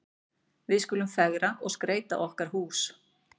Við skulum fegra og skreyta okkar hús.